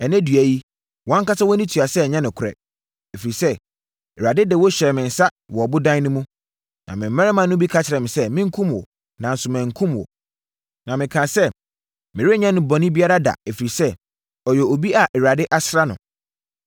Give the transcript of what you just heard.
Ɛnnɛ dua yi, wʼankasa wʼani tua sɛ ɛnyɛ nokorɛ. Ɛfiri sɛ, Awurade de wo hyɛɛ me nsa wɔ ɔbodan no mu, na me mmarima no bi ka kyerɛɛ me sɛ, menkum wo, nanso mankum wo. Na mekaa sɛ, ‘Merenyɛ no bɔne biara da, ɛfiri sɛ, ɔyɛ obi a Awurade asra no.’